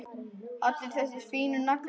Allir þessir fínu naglar!